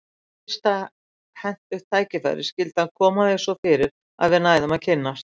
Við fyrsta hentugt tækifæri skyldi hann koma því svo fyrir að við næðum að kynnast.